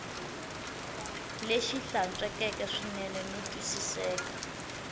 lexi hlantswekeke swinene no twisiseka